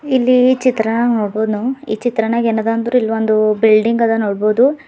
ಇಲ್ಲಿ ಈ ಚಿತ್ರ ವನ್ನು ಈ ಚಿತ್ರಣ ಎನದ ಅಂದ್ರ್ ಇಲ್ ಒಂದ್ ಬಿಲ್ಡಿಂಗ್ ಅದ ನೋಡಬಹುದು.